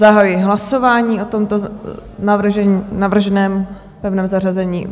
Zahajuji hlasování o tomto navrženém pevném zařazení.